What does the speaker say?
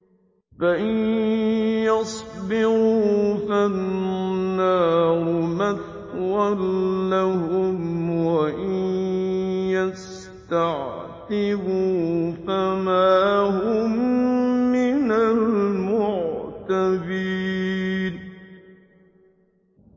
فَإِن يَصْبِرُوا فَالنَّارُ مَثْوًى لَّهُمْ ۖ وَإِن يَسْتَعْتِبُوا فَمَا هُم مِّنَ الْمُعْتَبِينَ